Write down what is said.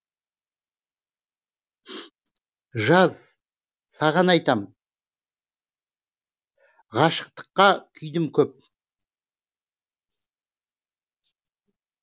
жаз саған айтам ғашықтыққа күйдім көп